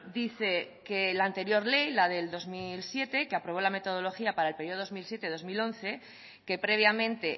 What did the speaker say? dice que la anterior ley la de dos mil siete que aprobó la metodología para el periodo dos mil siete dos mil once que previamente